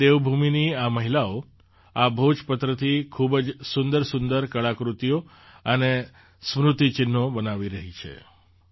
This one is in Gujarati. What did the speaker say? આજે દેવભૂમિની આ મહિલાઓ આ ભોજપત્રથી ખૂબ જ સુંદરસુંદર કળાકૃતિઓ અને સ્મૃતિ ચિહ્નો બનાવી રહી છે